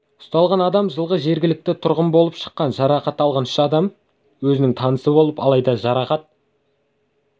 ұсталған адам жылғы жергілікті тұрғын болып шыққан жарақат алған үш адам да өзінің танысы алайда жарақат